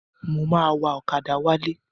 Mo máa wa ọ̀kadà wálé.